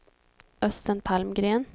Östen Palmgren